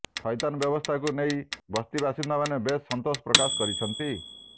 ଥଇଥାନ ବ୍ୟବସ୍ଥାକୁ ନେଇ ବସ୍ତି ବାସିନ୍ଦାମାନେ ବେଶ୍ ସନ୍ତୋଷ ପ୍ରକାଶ କରିଛନ୍ତି